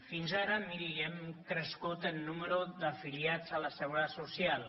fins ara miri hem crescut en nombre d’afiliats a la seguretat social